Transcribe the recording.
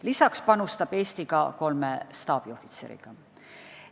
Lisaks panustab Eesti ka kolme staabiohvitseriga.